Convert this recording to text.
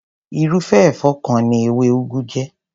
Irúfé èfó kan ni ewé ugu jé.